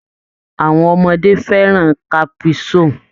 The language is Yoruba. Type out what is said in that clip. Àwọn ọmọdé fẹ́ràn caprisonnne.